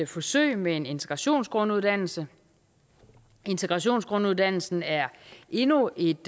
forsøg med en integrationsgrunduddannelse integrationsgrunduddannelsen er endnu et